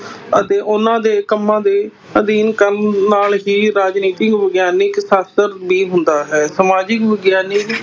ਅਤੇ ਉਹਨਾਂ ਦੇ ਕੰਮਾਂ ਦੇ ਅਧਿਐਨ ਕਰਨ ਨਾਲ ਹੀ ਰਾਜਨੀਤਿਕ ਵਿਗਿਆਨਕ ਸ਼ਾਸਤਰ ਵੀ ਹੁੰਦਾ ਹੈ, ਸਮਾਜਿਕ ਵਿਗਿਆਨਕ